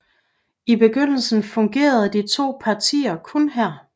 I begyndelsen fungerede de to partier kun her